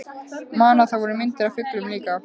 Man að það voru myndir af fuglum líka.